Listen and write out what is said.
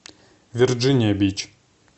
верджиния бич